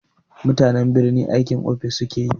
Mutanen birni aikin ofis sukafi yi.